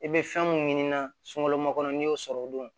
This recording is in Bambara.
I bɛ fɛn mun ɲini na sunkalo makɔnɔ n'i y'o sɔrɔ o don